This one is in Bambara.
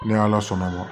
Ni ala sɔnna ma